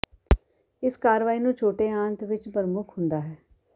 ਇਸ ਕਾਰਵਾਈ ਨੂੰ ਛੋਟੇ ਆੰਤ ਵਿਚ ਪ੍ਰਮੁਖ ਹੁੰਦਾ ਹੈ